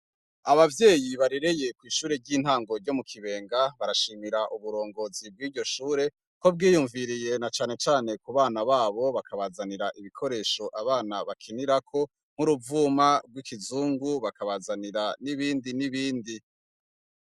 Abavyeyi barereye kw'ishure ry'intango ryo mu Kibenga barashimira uburongozi bwiryo Shure, ko bwiyumviriye nacane cane kubana babo bakabazanira Ibikoresho abana bakinirako nk'uruvuma rw'ikizungu, bakabazanira nibindi n'ibindi.